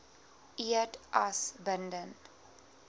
eed as bindend